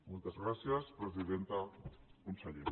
moltes gràcies presidenta conseller